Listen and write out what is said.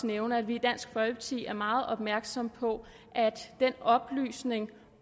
nævne at vi i dansk folkeparti er meget opmærksom på at den oplysning